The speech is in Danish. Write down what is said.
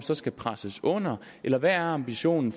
så skal presses under eller hvad er ambitionen